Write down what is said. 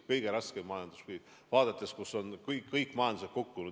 Kõik majandused on kukkunud.